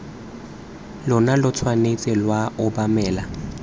lona lo tshwanetse lwa obamela